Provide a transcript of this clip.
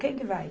Quem que vai?